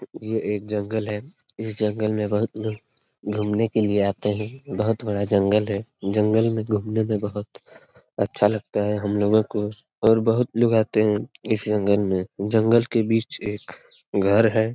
ये एक जंगल है इस जंगल में बहुत लोग घूमने के लिए आते है बहुत बड़ा जंगल है जंगल में घूमने में बहुत अच्छा लगता है हम लोगो को और बहुत लोग आते है इस जंगल में जंगल के बीच एक घर है।